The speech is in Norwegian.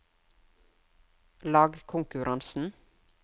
lagkonkurransen